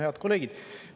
Head kolleegid!